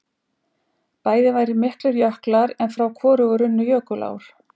bæði væru miklir jöklar en frá hvorugu runnu jökulár